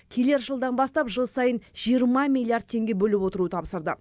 келер жылдан бастап жыл сайын жиырма миллиард теңге бөліп отыру тапсырды